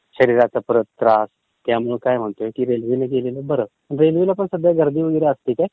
शरीराला परत त्रास, त्यामुळं काय होणार, त्यापेक्षा रेल्वेने गेलेलं बरं. रेल्वेला कसं काय गर्दीवगैरे असते का?